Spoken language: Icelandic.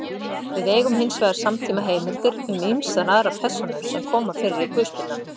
Við eigum hins vegar samtímaheimildir um ýmsar aðrar persónur sem koma fyrir í guðspjöllunum.